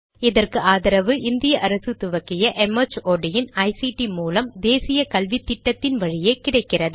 இதற்கு ஆதரவு இந்திய அரசு துவக்கிய ஐசிடி மூலம் தேசிய கல்வித்திட்டத்தின் வழியே கிடைக்கிறது